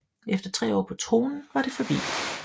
Efter tre år på tronen var det forbi